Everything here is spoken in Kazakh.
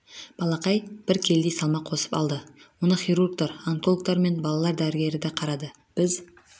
балақай бір келідей салмақ қосып алды оны хирургтар онкологтар мен балалар дәрігері де қарады біз